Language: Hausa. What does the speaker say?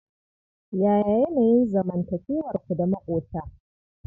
Yaya yanayin zanmantakewarku da maƙota?